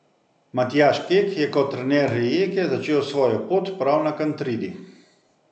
Matjaž Kek je kot trener Rijeke začel svojo pot prav na Kantridi.